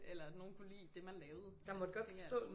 Eller nogen kunne lide det man lavede